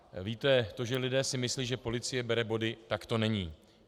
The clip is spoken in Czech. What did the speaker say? Víte, to, že si lidé myslí, že policie bere body, tak to není.